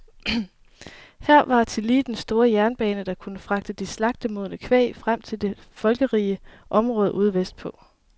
Her var tillige den store jernbane, der kunne fragte det slagtemodne kvæg frem til de folkerige områder ude vestpå.